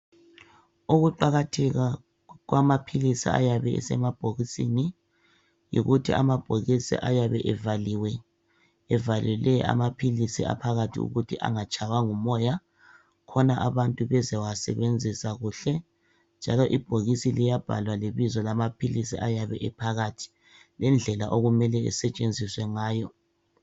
Ukuqakatheka kwamapilisi eyabe esemabhokisini, yikuthi amabhokisi ayabe evaliwe, evalele amapilisi aphakathi ukuthi angatshayiwa ngumoya. Khona abantu bezawasebenzisa kuhle. Njalo ibhokisi liyabhala lebizo lamapilisi ayabe ephakathi, ngedlela okumele asetshenziswe ngayo.